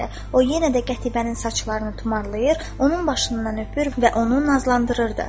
O yenə də Qətibənin saçlarını tumarlayır, onun başından öpür və onu nazlandırırdı.